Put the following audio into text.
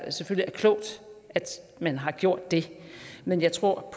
klogt at man har gjort det men jeg tror at